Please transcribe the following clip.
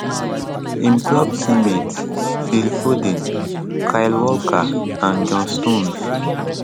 im club teammates phil foden kyle walker and john stones